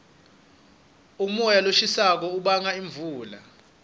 umoya loshisako ubanga imvula